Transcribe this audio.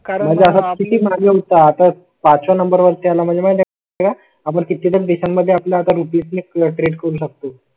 करण्यासाठी माझ्या होता. आता पाच या नंबर वरती आला म्हणजे आपण किती दिवसांमध्ये आपल्या रुपये क्रेट करू शकतो?